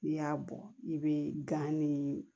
N'i y'a bɔ i bɛ gan ni